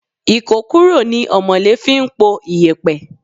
Ikokuro ni omole fi ń po iyẹpẹ.